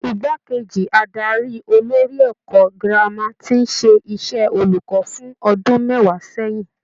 Igbákejì adarí olórí ẹ̀kọ́ girama tí ń ṣe iṣẹ́ olùkọ́ fún ọdún mẹ́wàá sẹ́yìn.